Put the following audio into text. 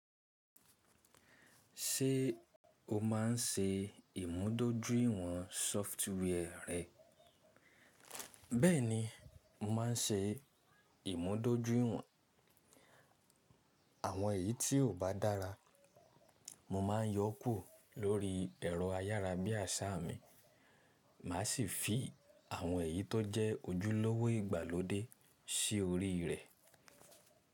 Ṣé o má ń ṣe ìmúdójúìwọ̀n sọfituee rẹ? Bẹ́ẹ̀ni, mo ma ń ṣe ìmúdójúìwọ̀n. Àwọn èyí tí kò bá dára, mo ma ń yọ́ kúrò lórí ẹ̀rọ ayárabíàṣá mi, màá sì fi àwọn èyí tó jẹ́ ojúlówó ìgbàlódé sí orí rẹ̀.